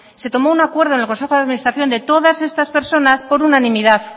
se tomó un acuerdo en el consejo de administración de todas estas personas por unanimidad